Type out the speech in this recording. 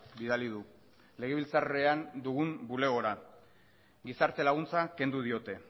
bidali du legebiltzarrean dugun bulegora gizarte laguntza kendu diote